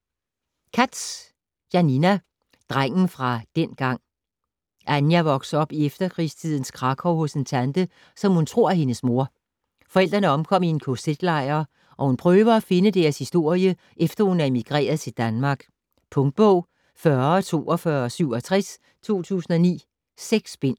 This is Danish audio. Katz, Janina: Drengen fra dengang Ania vokser op i efterkrigstidens Krakow hos en tante, som hun tror er hendes mor. Forældrene omkom i kz-lejr og hun prøver at finde deres historie efter hun er emigreret til Danmark. Punktbog 404267 2009. 6 bind.